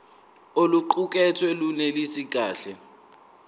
oluqukethwe lunelisi kahle